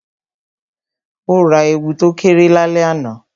O ra èwù to kéré lálẹ́ àná